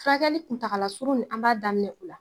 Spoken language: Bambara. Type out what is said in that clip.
Furakɛli kuntala suru nin an b'a daminɛ o la